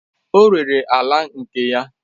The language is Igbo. O rere ala nke ya